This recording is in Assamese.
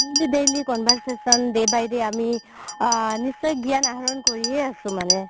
daily daily conversation day by day আমি আ নিশ্চয় গ্যান আহৰণ কৰিয়ে আছো মানে